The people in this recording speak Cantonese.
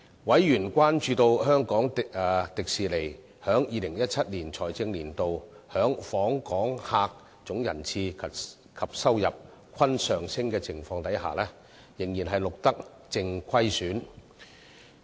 委員關注到香港迪士尼在2017財政年度的訪客總人次及收入均上升的情況下，仍錄得淨虧損。